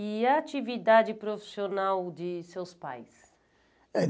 E a atividade profissional de seus pais? Eh